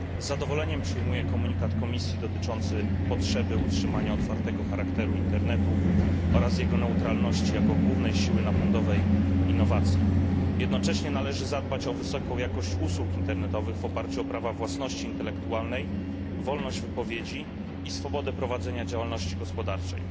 Z zadowoleniem przyjmuję komunikat Komisji dotyczący potrzeby utrzymania otwartego charakteru internetu oraz jego neutralności jako głównej siły napędowej innowacji. Jednocześnie należy zadbać o wysoką jakość usług internetowych w oparciu o prawa własności intelektualnej, wolność wypowiedzi i swobodę prowadzenia działalności gospodarczej.